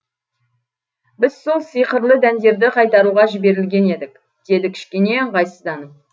біз сол сиқырлы дәндерді қайтаруға жіберілген едік деді кішкене ыңғайсызданып